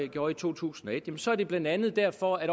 gjorde i to tusind og et så er det blandt andet derfor at